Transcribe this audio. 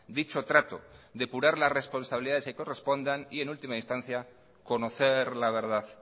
dicho trato depurar las responsabilidades que correspondan y en última instancia conocer la verdad